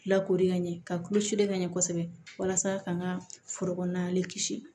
Lakori ka ɲɛ ka kulusi ka ɲɛ kosɛbɛ walasa ka n ka foro kɔnɔna ni kisi